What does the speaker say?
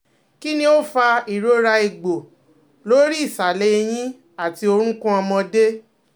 Kini o fa irora egbo lori isale eyin ati orukun omode?